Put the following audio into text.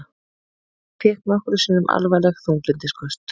Hann fékk nokkrum sinnum alvarleg þunglyndisköst.